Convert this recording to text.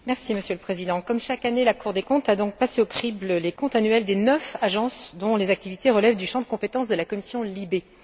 Monsieur le Président, comme chaque année, la Cour des comptes a passé au crible les comptes annuels des neuf agences dont les activités relèvent du champ de compétences de la commission LIBE.